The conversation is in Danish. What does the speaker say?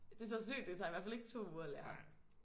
Det tager sygt det tager i hvert fald ikke 2 uger at lære